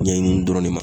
Ɲɛɲini dɔrɔn de ma